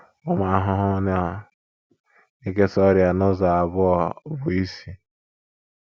Ụmụ ahụhụ na - ekesa ọrịa n’ụzọ abụọ bụ́ isi.